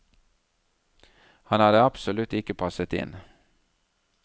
Han hadde absolutt ikke passet inn.